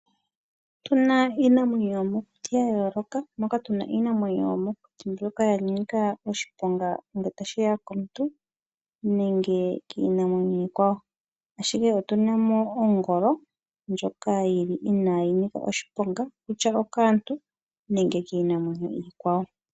Otuna iinamwenyo yomokuti yayooloka moka tuna iinamwenyo yomokuti mbyoka yanika oshiponga ngele tashiya komuntu nenge kiinamwenyo iikwawo, ashike otuna mo ongolo ndjoka yili inaayi nika oshiponga kutya okaantu nenge kiinamwenyo iikwawo.